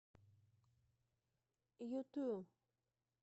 юту